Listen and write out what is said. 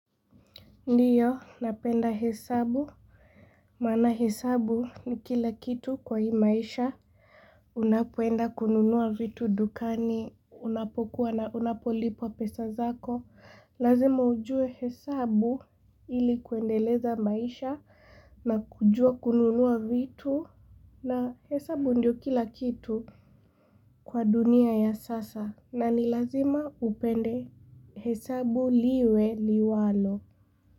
Ndiyo napenda hesabu Maana hesabu ni kila kitu kwa hii maisha Unapoenda kununua vitu dukani unapokuwa na unapolipwa pesa zako Lazima ujue hesabu ili kuendeleza maisha na kujua kununua vitu na hesabu ndio kila kitu kwa dunia ya sasa na ni lazima upende hesabu liwe liwalo.